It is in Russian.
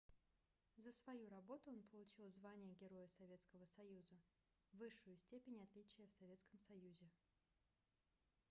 за свою работу он получил звание героя советского союза высшую степень отличия в советском союзе